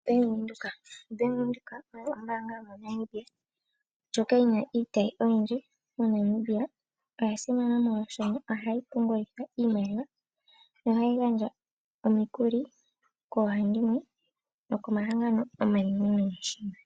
Bank Windhoek, Bank Windhoek oyo ombanga yomo Namibia ndjoka yina iitayi oyindji moNamibia, oya simana molwaashoka ohayi pungulitha iimaliwa nohayi gandja omikuli koohandimwe nokomahangano omanenenene moshilongo.